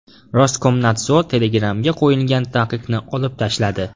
Roskomnadzor Telegram’ga qo‘yilgan taqiqni olib tashladi.